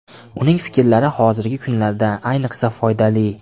Uning fikrlari hozirgi kunlarda ayniqsa foydali.